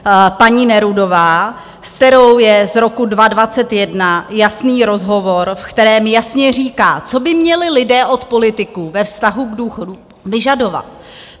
Paní Nerudová, s kterou je z roku 2021 jasný rozhovor, v kterém jasně říká, co by měli lidé od politiků ve vztahu k důchodům vyžadovat.